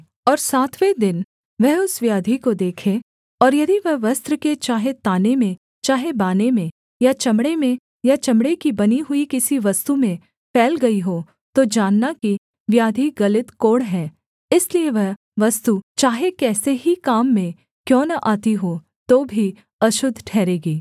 और सातवें दिन वह उस व्याधि को देखे और यदि वह वस्त्र के चाहे ताने में चाहे बाने में या चमड़े में या चमड़े की बनी हुई किसी वस्तु में फैल गई हो तो जानना कि व्याधि गलित कोढ़ है इसलिए वह वस्तु चाहे कैसे ही काम में क्यों न आती हो तो भी अशुद्ध ठहरेगी